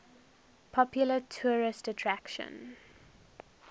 popular tourist attraction